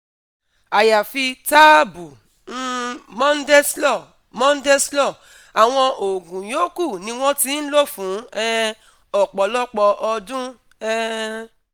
Àyàfi táàbù um Mondeslor, Mondeslor, àwọn oògùn yòókù ni wọ́n ti ń lò fún um ọ̀pọ̀lọpọ̀ ọdún um